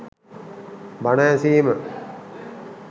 බණ ඇසීම